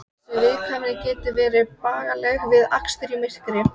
Engir syrgjandi ekkjumenn eða elliær gamalmenni.